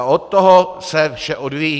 A od toho se vše odvíjí.